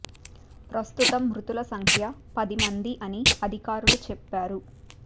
ప్రస్తుతం మృ తులసంఖ్య పది మంది అని అధికారులు చెప్పా రు